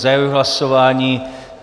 Zahajuji hlasování.